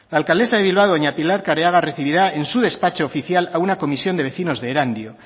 la alcaldesa de bilbao doña pilar careaga recibirá en su despacho oficial a una comisión de vecinos de erandio